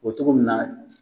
O bɛ cogo min na